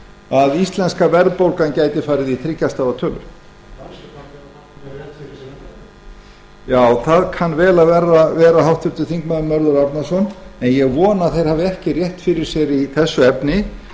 að íslenska verðbólgan gæti farið í þriggja stafa tölu já það kann vel að vera háttvirtur þingmaður mörður árnason en ég vona að þeir hafi ekki rétt fyrir sér í þessu efni